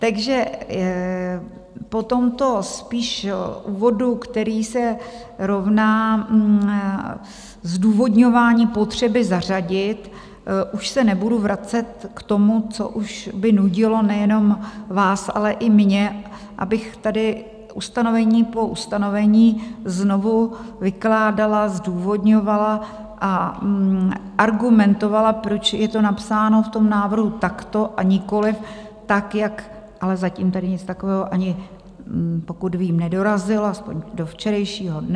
Takže po tomto spíš úvodu, který se rovná zdůvodňování potřeby zařadit, už se nebudu vracet k tomu, co už by nudilo nejenom vás, ale i mě, abych tady ustanovení po ustanovení znovu vykládala, zdůvodňovala a argumentovala, proč je to napsáno v tom návrhu takto, a nikoliv tak, jak - ale zatím tady nic takového ani pokud vím nedorazilo, aspoň do včerejšího dne.